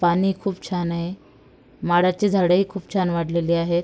पाणी खूप छानये माडाची झाडही खूप छान वाडलेले आहेत.